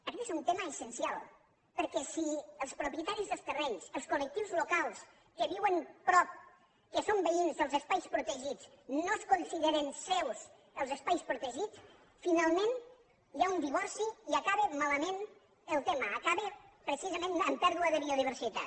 aguest és un tema essencial perquè si els propietaris dels terrenys els col·lectius locals que viuen prop que són veïns dels espais protegits no consideren seus els espais protegits finalment hi ha un divorci i acaba malament el tema acaba precisament en pèrdua de biodiversitat